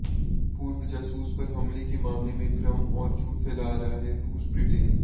पूर्व जासूस पर हमले के मामले में भ्रम और झूठ फैला रहा है रूसः ब्रिटेन